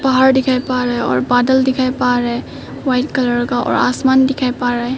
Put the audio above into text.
पहाड़ दिखाई पा रहे हैं बादल दिखाई पा रहे हैं व्हाइट कलर का और आसमान दिखाई पा रहे हैं।